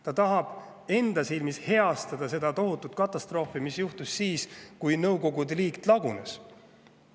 Ta tahab enda silmis heastada seda tohutut katastroofi, mis juhtus siis, kui Nõukogude Liit lagunes.